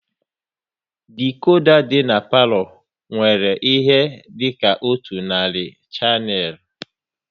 Dikoda dị n'palo nwere ihe dịka otu narị shanel